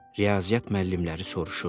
Riyaziyyat müəllimləri soruşurdu.